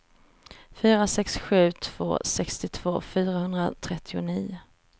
fyra sex sju två sextiotvå fyrahundratrettionio